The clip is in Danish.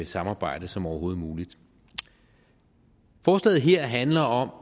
samarbejde som overhovedet muligt forslaget her handler